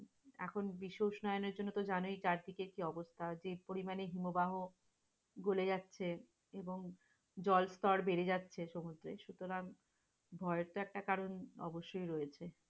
এখন বিশ্ব উষ্ণায়নের জন্য তো জানোই চারিদিকে কি অবস্থা? যে পরিমাণে হিমবাহ গলে যাচ্ছে এবং জল স্তর বেড়ে যাচ্ছে সমুদ্রের সুতারং ভয়েরতো একটা কারণ অবশ্যই রয়েছে।